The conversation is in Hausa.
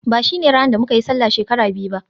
ba shine ranar da muka yi Sallah shekara biyu ba